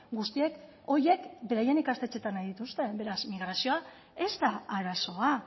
guztiek horiek beraien ikastetxeetan nahi dituzte beraz migrazioa ez da arazoa